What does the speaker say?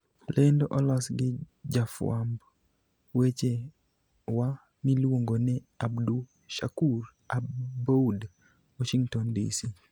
Lendo olos gi jafwamb weche wa miluongo ni Abdushakur Aboud, Washington, DC.